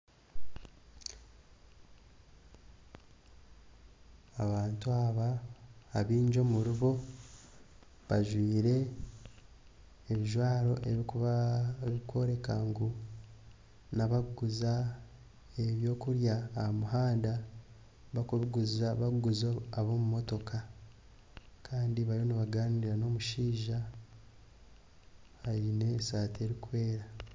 Abantu abo abaingi omuri bo bajwire ebijwaro ebirikworeka ngu n'abarikuguza eby'okurya aha muhanda barikubiguza ab'omu mutoka kandi bariyo nibaganiira n'omushaija aine esaati erikwera